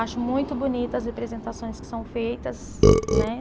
Acho muito bonita as representações que são feitas. Né